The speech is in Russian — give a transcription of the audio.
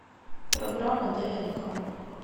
программа днк